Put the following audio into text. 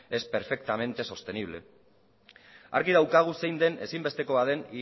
es perfectamente sostenible argi daukagu zein den ezinbestekoa den